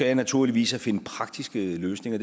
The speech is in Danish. jeg naturligvis at finde praktiske løsninger